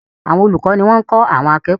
Àwọn olùkọ́ ní wọ́n ń kọ́ àwọn akẹ́kọ̀ọ́.